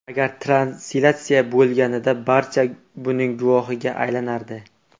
Agar translyatsiya bo‘lganida, barcha buning guvohiga aylanardi.